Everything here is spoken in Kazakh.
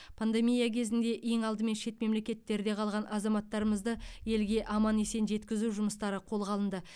пандемия кезінде ең алдымен шет мемлекеттерде қалған азаматтарымызды елге аман есен жеткізу жұмыстары қолға алынды